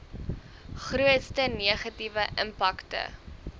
grootste negatiewe impakte